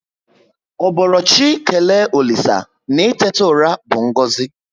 Ọ boro chị kelee olisa na itetu ụra bu ngozi